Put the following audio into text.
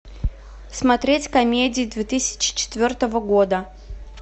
смотреть комедии две тысячи четвертого года